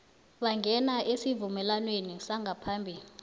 bangena esivumelwaneni sangaphambi